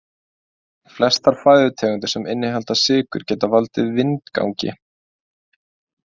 Flestar fæðutegundir sem innihalda sykrur geta valdið vindgangi.